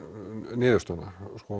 niðurstöðuna